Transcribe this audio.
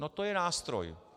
No to je nástroj.